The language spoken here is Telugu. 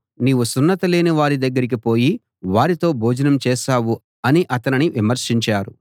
నీవు సున్నతి లేని వారి దగ్గరికి పోయి వారితో భోజనం చేశావు అని అతనిని విమర్శించారు